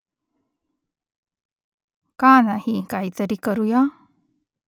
का नाही काहीतरी करुया ?